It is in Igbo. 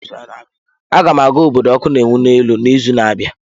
Aga m aga obodo ọkụ na-enwu n'elu n'izu na-abịa.